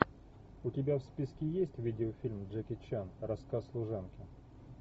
у тебя в списке есть видеофильм джеки чан рассказ служанки